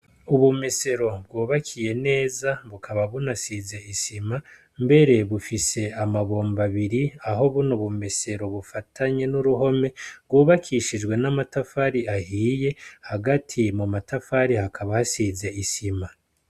Ubumesero bwobakiye neza bukaba bunasize isima mbere bufise amabomba abiri aho buno bumesero bufatanye n'uruhome bwobakishijwe n'amatafari ahiye hagati mu matafari hakaba hasize isima.